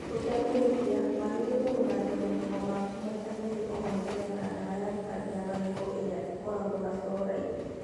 ũtekũhĩtia, wagĩrĩirwo gũthambia magego maku maita merĩ o mũthenya (na ndawa ya gũthambia magego ĩrĩa ĩkoragwo na fluoride).